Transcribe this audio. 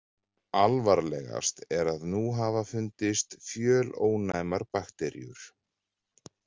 Alvarlegast er að nú hafa fundist fjölónæmar bakteríur.